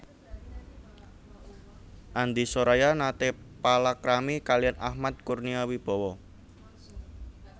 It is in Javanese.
Andi Soraya nate palakrami kaliyan Ahmad Kurnia Wibawa